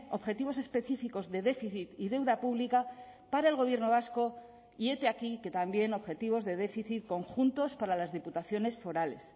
objetivos específicos de déficit y deuda pública para el gobierno vasco y hete aquí que también objetivos de déficit conjuntos para las diputaciones forales